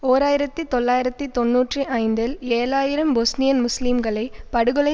ஓர் ஆயிரத்தி தொள்ளாயிரத்தி தொன்னூற்றி ஐந்தில் ஏழு ஆயிரம் பொஸ்னியன் முஸ்லிம்களை படுகொலை